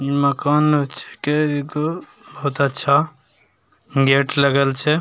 मकान छींके एगो बहुत अच्छा गेट लगल छै ।